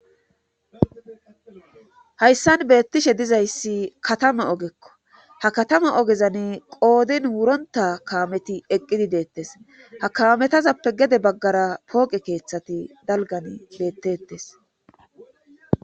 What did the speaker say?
hayssan beettishe dizayssi katama ogekko ha katama ogezan qoodin wuronta kaameti eqqidi deettes ha kaametazappe gede baggara pooqe keeththati dalgan beettettes